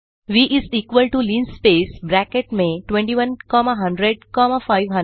व is equal to linspace bracket में 21 comma 100 comma 500